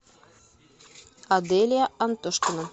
аделия антошкина